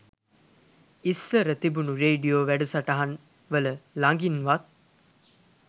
ඉස්සර තිබුන රේඩියෝ වැඩසටහන්වල ළගින්වත්